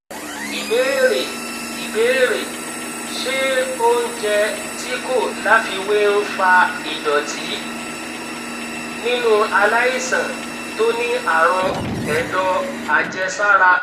ibeere ibeere se ounje ti ko lafiwe n fa idoti ninu alaisan to ni arun edo ajesara